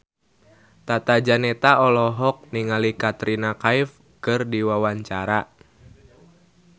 Tata Janeta olohok ningali Katrina Kaif keur diwawancara